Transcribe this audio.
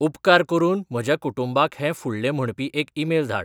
उपकार करून म्हज्या कुटुंबाक हें फुडलें म्हणपी एक ईमेल धाड